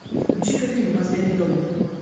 включи ка фильм последний довод